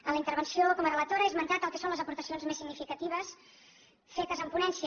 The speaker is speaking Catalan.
en la intervenció com a relatora he esmentat el que són les aportacions més significatives fetes en ponència